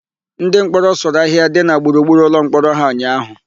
Ndịmkpọrọ sụrụ ahịhịa dị na gburugburu ụlọmkpọrọ ha ụnyaahụ.